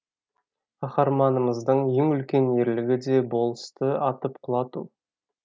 қаһарманымыздың ең үлкен ерлігі де болысты атып құлату